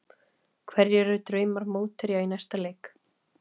Hverjir eru drauma mótherjar í næsta leik?